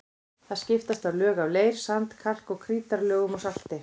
Þar skiptast á lög af leir-, sand-, kalk- og krítarlögum og salti.